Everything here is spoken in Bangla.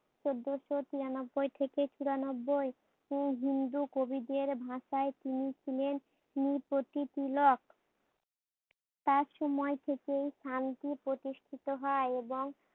চোদ্দোশো তিরানব্বই থেকে চূরা নব্বই উম হিন্দু কবিদের ভাষায় তিনি ছিলেন নীপতি তিলক। তার সময় থেকেই স্থানটি প্রতিষ্ঠিত হয় এবং